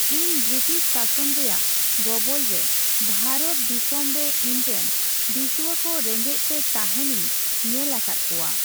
ᱤᱧ ᱵᱨᱤᱴᱤᱥ ᱥᱟᱥᱚᱱ ᱨᱮᱭᱟᱜ ᱜᱚᱵᱚᱞ ᱨᱮ ᱵᱷᱟᱨᱚᱛ ᱫᱤᱥᱟᱹᱢᱨᱮ ᱤᱧᱨᱮᱱ ᱫᱤᱥᱩᱣᱟᱹᱠᱚ ᱨᱮᱸᱜᱮᱡ ᱛᱮ ᱛᱟᱦᱮᱸᱱᱤᱧ ᱧᱮᱞ ᱟᱠᱟᱫ ᱠᱚᱣᱟ ᱾